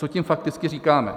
Co tím fakticky říkáme?